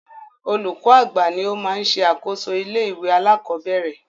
Olúkọ́ àgbà ní o má ń ṣe àkóso ilé ìwé alákọ̀berẹ̀.